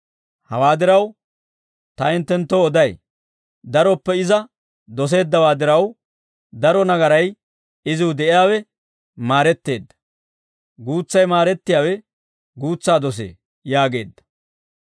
Hawaa diraw ta hinttenttoo oday: daroppe iza doseeddawaa diraw, daro nagaray iziw de'iyaawe maaretteedda; guutsay maarettiyaawe guutsaa dosee» yaageedda.